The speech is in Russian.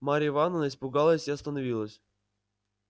марья ивановна испугалась и остановилась